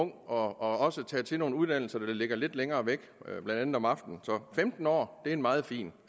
og også at tage til nogle uddannelser der ligger lidt længere væk blandt andet om aftenen så femten år er en meget fin